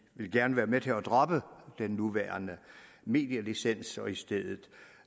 vil gerne være med til at droppe den nuværende medielicens og i stedet